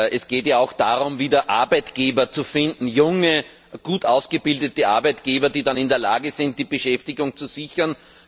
Es geht ja auch darum, wieder Arbeitgeber zu finden, junge, gut ausgebildete Arbeitgeber, die dann in der Lage sind, die Beschäftigung zu sichern.